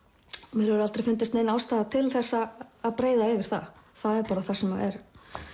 mér hefur aldrei fundist nein ástæða til að breiða yfir það það er það sem er